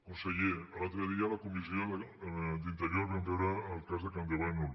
conseller l’altre dia a la comissió d’interior vam veure el que cas de campdevànol